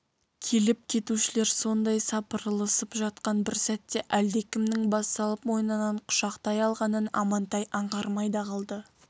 келіп-кетушілер сондай сапырылысып жатқан бір сәтте әлдекімнің бас салып мойнынан құшақтай алғанын амантай аңғармай да қалды